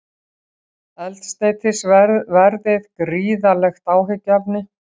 Eldsneytisverðið gríðarlegt áhyggjuefni